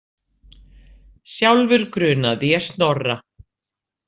Sjálfur grunaði ég Snorra.